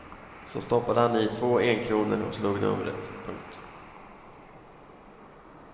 Så stoppade han i två enkronor och slog numret. punkt